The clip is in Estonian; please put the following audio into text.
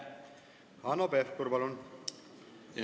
Hanno Pevkur, palun!